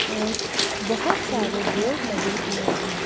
और बहुत सारे बोर्ड लगे हुए हैं।